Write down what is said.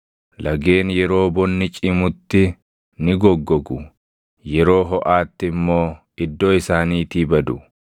Lageen yeroo bonni cimutti ni goggogu; yeroo hoʼaatti immoo iddoo isaaniitii badu.